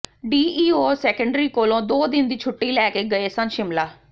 DEO secondary ਕੋਲੋਂ ਦੋ ਦਿਨ ਦੀ ਛੁੱਟੀ ਲੈ ਕੇ ਗਏ ਸਨ ਸ਼ਿਮਲਾ